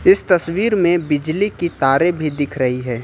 इस तस्वीर में बिजली की तारे भी दिख रही है।